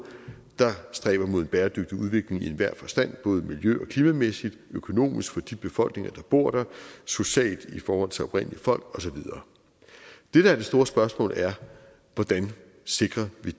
der stræber mod en bæredygtig udvikling i enhver forstand både miljø og klimamæssigt økonomisk for de befolkninger der bor der socialt i forhold til oprindelige folk og så videre det der er det store spørgsmål er hvordan vi sikrer